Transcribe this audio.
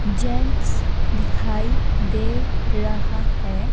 Gents दिखाई दे रहा है।